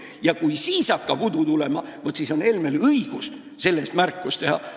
Ja kui siis hakkab udu tulema, vaat siis on Helmel õigus selle eest märkus teha.